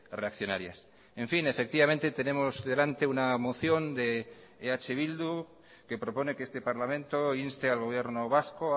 reaccionarias en fin efectivamente tenemos delante una moción de eh bildu que propone que este parlamento inste al gobierno vasco